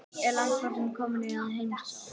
Er landpósturinn kominn í heimsókn?